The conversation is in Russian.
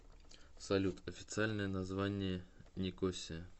салют официальное название никосия